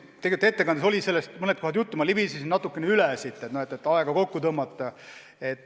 Tegelikult ettekandes on sellest mõnes kohas juttu, ma libisesin teemast natukene kergelt üle, et aega kokku hoida.